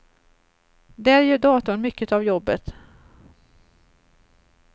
Där gör datorn mycket av jobbet.